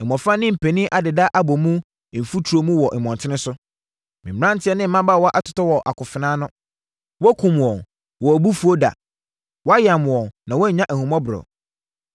“Mmɔfra ne mpanin adeda abɔ mu mfuturo mu wɔ mmɔntene so, me mmeranteɛ ne mmabaawa atotɔ wɔ akofena ano. Wakum wɔn wɔ wʼabufuo da; wayam wɔn na wannya ahummɔborɔ.